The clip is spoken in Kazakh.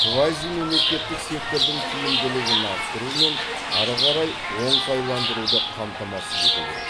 квазимемлекеттік сектордың тиімділігін арттыру мен ары қарай оңтайландыруды қамтамасыз ету керек